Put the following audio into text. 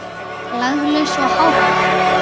Laglaus og hávær.